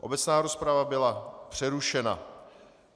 Obecná rozprava byla přerušena.